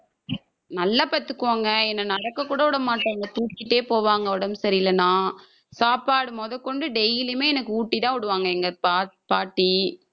நல்லா பாத்துப்பாங்க என்னை நடக்க கூட விடமாட்டாங்க தூக்கிட்டே போவாங்க உடம்பு சரியில்லைன்னா சாப்பாடு முதற்கொண்டு daily யுமே எனக்கு ஊட்டிதான் விடுவாங்க எங்க பாட்~ பாட்டி